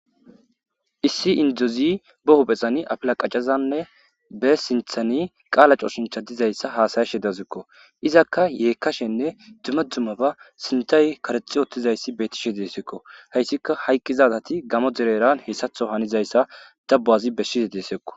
Issi indozi bee huphphezani afilla qacadanne be siinththani qaala cooshinchcha dizayssa haasayashe dazikko izakka yeekkashenne dumma dummaba siinththay karexi utttizayssi bettishshe dee'issikko hayssika hayqqizageti gammo dereran heessaththo hanizayssa dabbo assi birshshidi dee'essikko